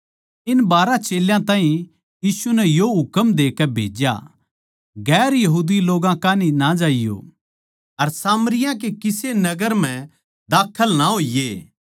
इन बारहां चेल्यां ताहीं यीशु नै यो हुकम देके भेज्या गैर यहूदी लोग्गां कान्ही ना ज्याइयो अर सामरियाँ के किसे नगर म्ह दाखल ना होइये